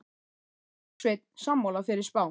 Er Bergsveinn sammála þeirri spá?